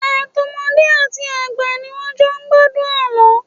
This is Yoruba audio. Àtọmọdé àti àgbà ni wọ́n jọ ń gbádùn àlọ́.